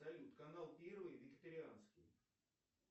салют канал первый вегетарианский